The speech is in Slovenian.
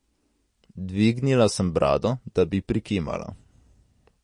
Dvignila sem brado, da bi prikimala.